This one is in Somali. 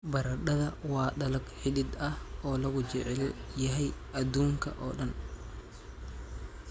Baradhada waa dalag xidid ah oo lagu jecel yahay adduunka oo dhan.